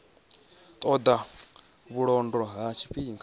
ṱo ḓa vhulondo ha tshifhinga